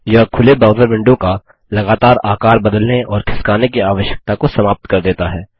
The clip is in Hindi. यह खुले ब्राउज़र विंडो का लगातार आकार बदलने और खिसकाने की आवश्यकता को समाप्त कर देता है